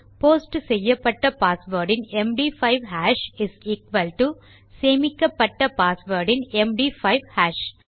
post செய்யப்பட்ட password இன் MD five hash is equal to சேமிக்கப்பட்ட பாஸ்வேர்ட் இன் எம்டி5 ஹாஷ்